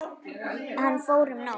Hann fór um nótt.